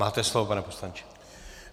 Máte slovo, pane poslanče.